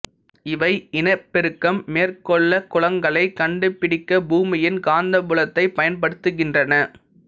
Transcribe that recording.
இவை இனப்பெருக்கம் மேற்கொள்ளக் குளங்களைக் கண்டுபிடிக்கப் பூமியின் காந்தப்புலத்தைப் பயன்படுத்துகின்றன